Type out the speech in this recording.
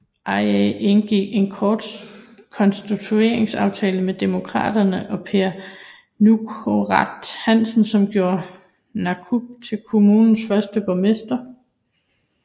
IA indgik en konstitueringsaftale med Demokraterne og Per Nukaaraq Hansen som gjorde Narup til kommunens første borgmester